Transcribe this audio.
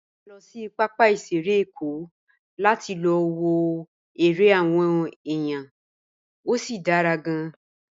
A lọ sí pápá ìṣeré Èkó láti lọ wo eré àwọn èèyàn, ó sì dára gan-an.